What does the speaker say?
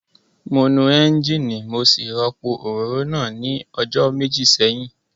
Mo nu ẹ́ńjíìnì mo sì rọ́pò òróró náà ní ọjọ́ méjì sẹ́yìn